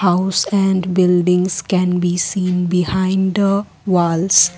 House and buildings can be seen behind the walls.